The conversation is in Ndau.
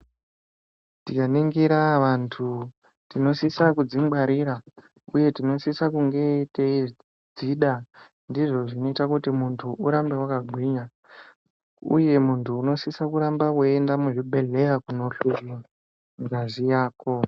Tikaringira antu tinosisa kudzi gwarira uye tinosisa kunge teyidzida ndozvinoita urambe wakagwinya uye muntu unosiso kuramba weyi enda muzvibhedhlera kunohloyiwa ngazi yako.